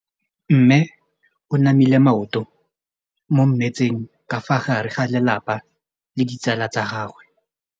Mme o namile maoto mo mmetseng ka fa gare ga lelapa le ditsala tsa gagwe.